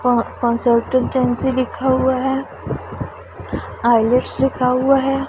क कंसल्टेंसी लिखा हुआ है आ_इ_ल _ट _स लिखा हुआ है।